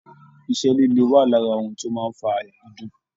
Iṣẹ́ líle wà lára ohun tó máa ń fa àyà dídùn